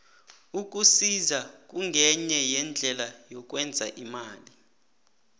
ukusisa kungenye yeendlela yokwenza imali